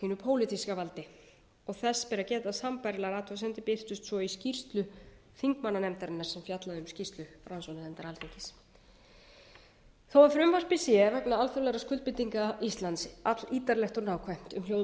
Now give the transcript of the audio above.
pólitíska valdi og þess ber að geta að sambærilegar athugasemdir birtust svo í skýrslu þingmannanefndarinnar sem fjallaði um skýrslu rannsóknarnefndar alþingis þó frumvarpið sé vegna alþjóðlegra skuldbindingar íslands allítarlegt og nákvæmt um hljóð og